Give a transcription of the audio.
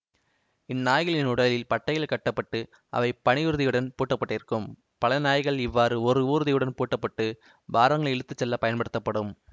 இந்நாய்களின் உடலில் பட்டைகள் கட்ட பட்டு அவை பனியூர்தியுடன் பூட்டப்பட்டிருக்கும் பல நாய்கள் இவ்வாறு ஓர் ஊர்தியுடன் பூட்டப்பட்டு பாரங்களை இழுத்து செல்ல பயன்படுத்தப்படும்